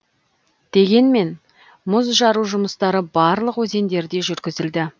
дегенмен мұз жару жұмыстары барлық өзендерде жүргізілді